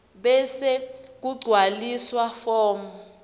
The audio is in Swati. bese kugcwaliswa form